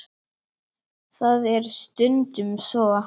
Það er stundum svo.